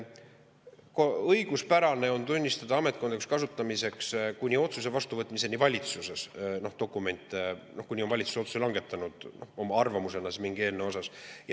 Õiguspärane on tunnistada ametkondlikuks kasutamiseks valitsuse dokumente, kuni valitsus on langetanud otsuse oma arvamusena mingi eelnõu kohta.